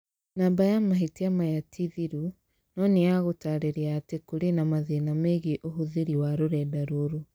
Namba ya mahĩtia maya ti thiru, no nĩ ya gũtaarĩria atĩ kũrĩ na mathĩna megiĩ ũhũthĩri wa rũrenda rũrũ.